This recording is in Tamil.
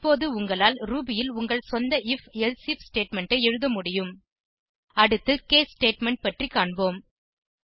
இப்போது உங்களால் ரூபி ல் உங்கள் சொந்த ஐஎஃப் எல்சிஃப் ஸ்டேட்மெண்ட் ஐ எழுத முடியும் அடுத்து கேஸ் ஸ்டேட்மெண்ட் பற்றி காண்போம்